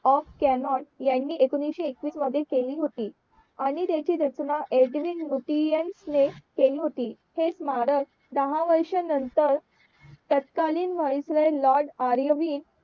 of Connaught ह्यांनी एकोणीशे एकवीस मध्ये केली होती आणि त्याची रचना एडविन मोतियांस ने केली होती हे स्मारक दहा वर्ष नंतर तत्कालीन ने लॉर्ड आर्यवीन